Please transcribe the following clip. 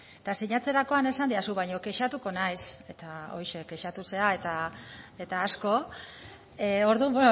eta sinatzerakoan esan didazu kexatuko zinela eta kexatu zara eta asko orduan